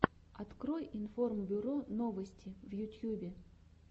открой информбюро новости в ютьюбе